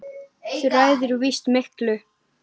Þú ræður víst miklu.